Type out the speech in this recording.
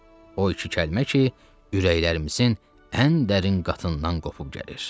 O iki kəlmə ki, ürəklərimizin ən dərin qatından qopub gəlir.